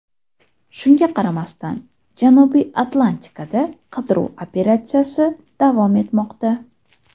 Shunga qaramasdan, Janubiy Atlantikada qidiruv operatsiyasi davom etmoqda.